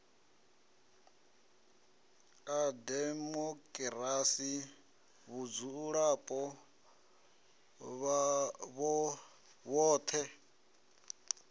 a demokirasi vhadzulapo vhoṱhe a